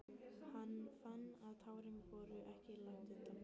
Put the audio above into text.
Hann fann að tárin voru ekki langt undan.